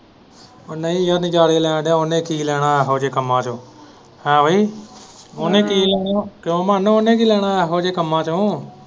ਉਹ ਨਹੀਂ ਉਹ ਨਜਾਰੇ ਲੈਣ ਦਿਆ ਉਹਨੇ ਕੀ ਲੈਣਾ ਇਹੋ ਜਿਹੇ ਕੰਮਾਂ ਤੋਂ ਹੈ ਵੀ ਉਹਨੇ ਕੀ ਲੈਣਾ ਕਿਉਂ ਮਾਨੇ ਉਹਨੇ ਕੀ ਲੈਣਾ ਇਹੋ ਜਿਹੇ ਕੰਮਾਂ ਤੋਂ।